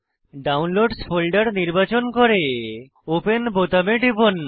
ডাউনলোডসহ folder নির্বাচন করে open বোতামে টিপুন